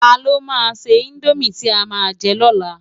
Tá ló má sè indómi ti á má jè lò lá?